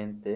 Ente